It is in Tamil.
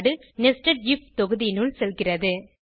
நெஸ்டட் ஐஎஃப் தொகுதியினுள் செல்கிறது